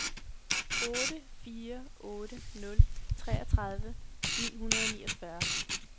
otte fire otte nul treogtredive ni hundrede og niogfyrre